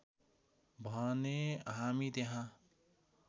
भने हामी त्यहाँ